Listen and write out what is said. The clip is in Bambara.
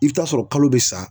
I bi taa sɔrɔ kalo be sa